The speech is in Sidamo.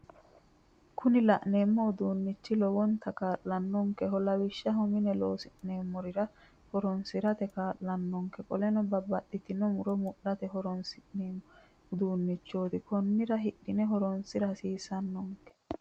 Kuni la'neemmo uduunnichi lowonta kaallanonkeho lawishaho mine loosi'neemmorira horonsirate kaallanonke qoleno babbaxitino muro mudhate horonsi'neemmo uduunnichooti konnira hidhine horonsira hasiissannonke